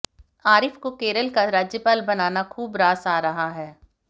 आरिफ को केरल का राज्यपाल बनाना खूब रास आ रहा है